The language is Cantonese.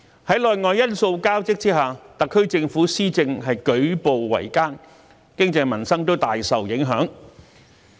在內外因素交織下，特區政府施政舉步維艱，經濟民生大受影響。